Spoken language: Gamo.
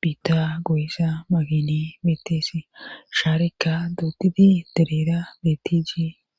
biitta goyisa makine beettese shaarika dootiti dereera bettijii..